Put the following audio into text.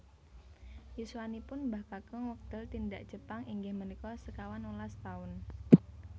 Yuswanipun Mbah Kakung wekdal tindak Jepang inggih menika sekawan welas taun